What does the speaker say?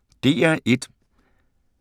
DR1